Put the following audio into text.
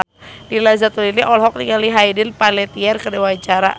Nina Zatulini olohok ningali Hayden Panettiere keur diwawancara